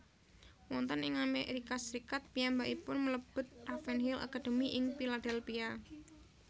Wonten ing Amerika Serikat piyambakipun mlebet Ravenhill Academy ing Philadelphia